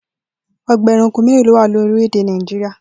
O̩gbà e̩ranko mélòó ló wà ní orílè̩-èdè Nàìjíríà?